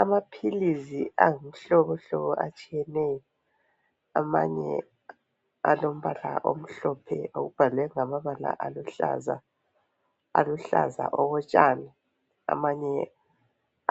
Amaphilisi ayimihlobo etshiyeneyo amanye alombala omhlophe abhalwe ngamabala aluhlaza okotshani amanye